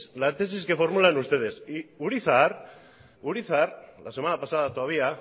la tesis que formulan ustedes y urizar la semana pasada todavía